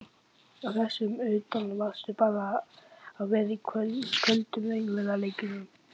Og þess utan varðstu bara að vera í köldum raunveruleikanum.